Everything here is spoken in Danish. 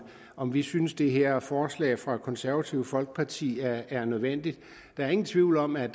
om vi synes at det her forslag fra det konservative folkeparti er er nødvendigt der er ingen tvivl om at